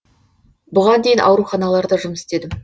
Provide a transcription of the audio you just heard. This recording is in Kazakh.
бұған дейін ауруханаларда жұмыс істедім